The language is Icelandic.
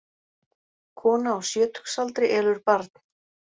Kona á sjötugsaldri elur barn